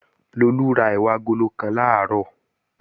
Lolú ra ẹ̀wà agolo kan làárọ̀